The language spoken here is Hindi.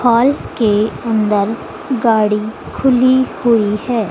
हॉल के अंदर गाड़ी खुली हुई है।